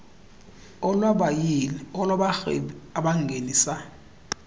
olwabayili olwabarhwebi abangenisa